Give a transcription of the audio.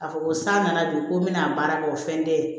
A fɔ ko san nana don ko n bɛna baara kɛ o fɛn tɛ